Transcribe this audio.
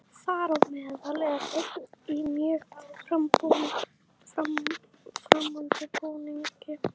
Þar á meðal er einn í mjög framandi búningi.